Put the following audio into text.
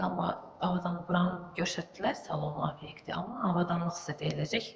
Dedilər avadanlıq buranı göstərdilər salon obyektinə, amma avadanlıq sizə veriləcək.